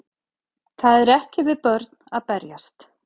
Það er ekki við börn að berjast